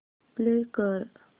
play कर